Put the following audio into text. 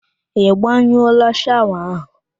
Ị gbanyụọla shawa ahụ?